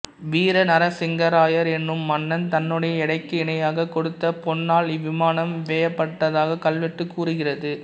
வீரநரசிங்கராயர் எனும் மன்னன் தன்னுடைய எடைக்கு இணையாக கொடுத்த பொன்னால் இவ்விமானம் வேயப்பட்டதாக கல்வெட்டு கூறுகிறது